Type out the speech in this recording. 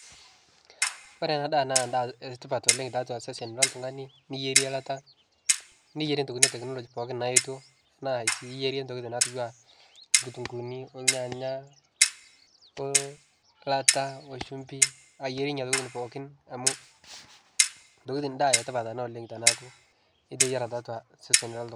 Kore ana ndaa naa etipaat oleng te atua sesen le ltung'ani . Niyeere ilaata, niyeere ntokitin e teknoloji pooki naiyetoo, ana sii iyeere ntokitin naituuwa lkitunguuni, ilnyanya, ilaata oshumfii. Iyeere nenia ntokitin pooki, amu ntokitin ndaa etipaat ana tanaaku iteyaara te atua sesen le.